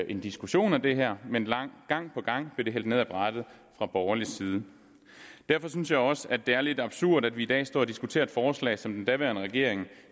en diskussion af det her men gang på gang blev det hældt ned ad brættet fra borgerlig side derfor synes jeg også at det er lidt absurd at vi i dag står og diskuterer et forslag som den daværende regering